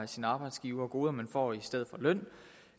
sin arbejdsgiver af goder som man får i stedet for løn